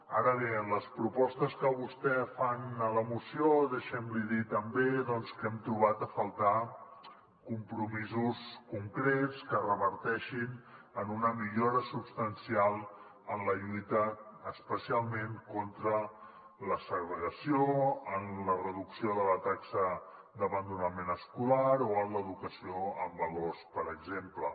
ara bé en les propostes que vostès fan a la moció deixi’m li dir també doncs que hem trobat a faltar compromisos concrets que reverteixin en una millora substancial en la lluita especialment contra la segregació en la reducció de la taxa d’abandonament escolar o en l’educació en valors per exemple